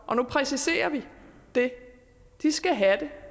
og nu præciserer vi det skal have den